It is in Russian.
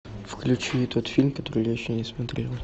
включи тот фильм который я еще не смотрел